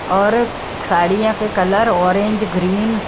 और साड़ियों के कलर ऑरेंज ग्रीन --